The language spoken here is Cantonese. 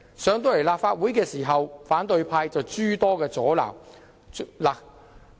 項目提交立法會後，反對派議員卻諸多阻撓。